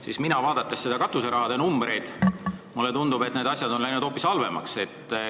Mulle tundub, vaadates katuserahade numbreid, et asjad on läinud hoopis halvemaks.